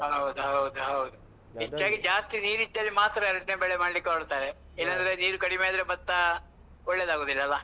ಹೌದ್ ಹೌದು ಹೌದು. ಜಾಸ್ತಿ ನೀರಿದ್ದಲ್ಲಿ ಮಾತ್ರ, ಎರಡ್ನೇ ಬೆಳೆ ಮಾಡ್ಲಿಕ್ಕೆ ಹೊರಡ್ತಾರೆ, ನೀರು ಕಡಿಮೆ ಆದ್ರೆ, ಭತ್ತ ಒಳ್ಳೇದಾಗೂದಿಲ್ಲಲ್ಲ.